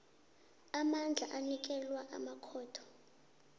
amandla anikelwa amakhotho